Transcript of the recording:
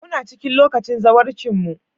Muna cikin lokacin zawarcinmu.